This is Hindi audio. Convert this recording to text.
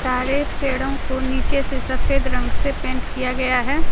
सारे पेड़ों को नीचे से सफेद रंग से पेंट किया गया है।